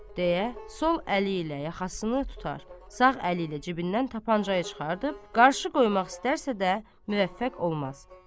Deyə, sol əli ilə yaxasını tutar, sağ əli ilə cibindən tapançayı çıxarıb qarşı qoymaq istərsə də müvəffəq olmaz.